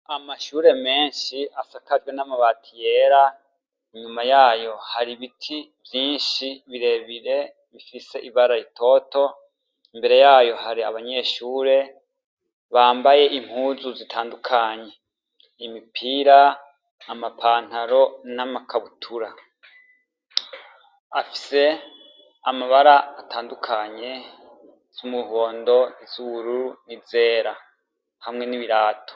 Amashure menshi asakajwe n'amabati yera , inyuma yayo hari ibiti vyinshi birebire bifise ibara ritoto, imbere yayo hari abanyeshure ,bambaye impuzu zitandukanye, imipira, ama pantalo n'ama kabutura. Afise amabara atandukanye, iz'umuhondo, niz'ubururu n'izera, hamwe n'ibirato.